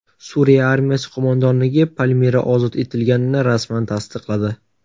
Suriya armiyasi qo‘mondonligi Palmira ozod etilganini rasman tasdiqladi .